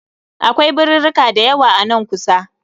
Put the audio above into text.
Akwai birirrika dayawa a nan kusa